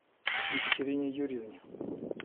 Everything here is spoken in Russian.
екатерине юрьевне